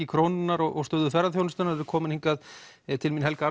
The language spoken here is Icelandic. krónunnar og stöðu ferðaþjónustunnar þau eru komin hingað Helga